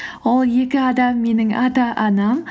ол екі адам менің ата анам